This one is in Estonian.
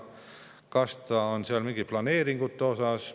Kas see on mingite planeeringute osas?